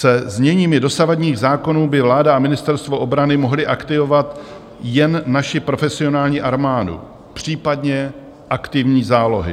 Se zněními dosavadních zákonů by vláda a ministerstvo obrany mohly aktivovat jen naši profesionální armádu, případně aktivní zálohy.